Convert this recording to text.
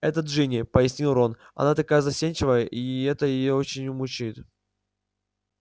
это джинни пояснил рон она такая застенчивая и это её очень мучает